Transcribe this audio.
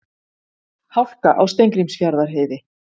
Hálka á Steingrímsfjarðarheiði